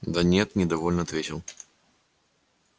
да нет недовольно ответил